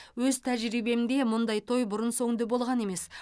өз тәжірибемде мұндай той бұрын соңды болған емес